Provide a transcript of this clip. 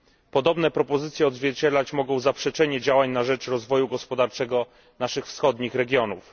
Podobne propozycje odzwierciedlać mogą zaprzeczenie działań na rzecz rozwoju gospodarczego naszych wschodnich regionów.